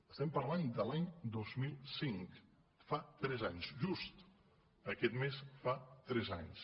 estem parlant de l’any dos mil cinc fa tres anys just aquest mes fa tres anys